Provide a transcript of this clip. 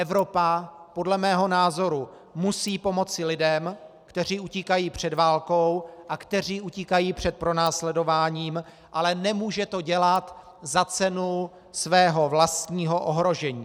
Evropa podle mého názoru musí pomoci lidem, kteří utíkají před válkou a kteří utíkají před pronásledováním, ale nemůže to dělat za cenu svého vlastního ohrožení.